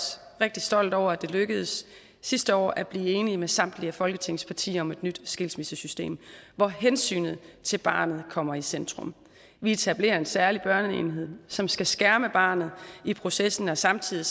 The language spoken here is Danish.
rigtig stolt over at det lykkedes sidste år at blive enig med samtlige af folketingets partier om et nyt skilsmissesystem hvor hensynet til barnet kommer i centrum vi etablerer en særlig børneenhed som skal skærme barnet i processen og samtidig